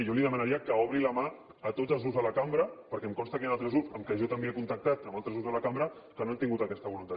jo li diria demanaria que obri la mà a tots els grups de la cambra perquè em consta que hi han altres grups amb qui jo també he contactat amb altres grups de la cambra que no han tingut aquesta voluntat